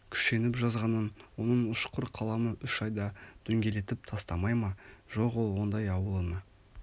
күшеніп жазғанын оның ұшқыр қаламы үш айда дөңгелетіп тастамай ма жоқ ол ондай ауылына